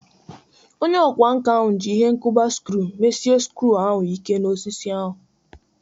Onye ọkwá nkà ahụ ji ihe nkuba skru mesie skru ahu Ike n'osisi ahu.